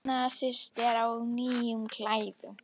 Nýnasistar á nýjum klæðum